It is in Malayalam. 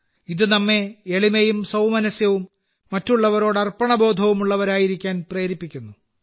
ഇത് നമ്മെ എളിമയും സൌമനസ്യവും മറ്റുള്ളവരോട് അർപ്പണബോധവും ഉള്ളവരായിരിക്കാൻ പ്രേരിപ്പിക്കുന്നു